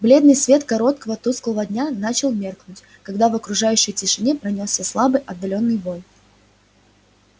бледный свет короткого тусклого дня начал меркнуть когда в окружающей тишине пронёсся слабый отдалённый вой